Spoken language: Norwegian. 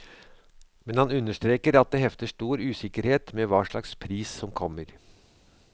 Men han understreker at det hefter stor usikkerhet med hva slags pris som kommer.